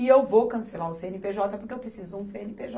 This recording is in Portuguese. E eu vou cancelar o cê ene pê jota porque eu preciso de um cê ene pê jota.